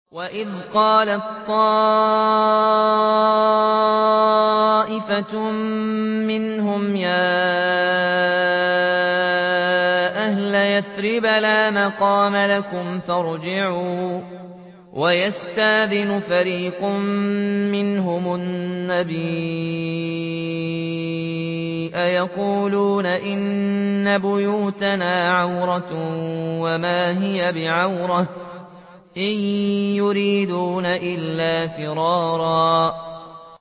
وَإِذْ قَالَت طَّائِفَةٌ مِّنْهُمْ يَا أَهْلَ يَثْرِبَ لَا مُقَامَ لَكُمْ فَارْجِعُوا ۚ وَيَسْتَأْذِنُ فَرِيقٌ مِّنْهُمُ النَّبِيَّ يَقُولُونَ إِنَّ بُيُوتَنَا عَوْرَةٌ وَمَا هِيَ بِعَوْرَةٍ ۖ إِن يُرِيدُونَ إِلَّا فِرَارًا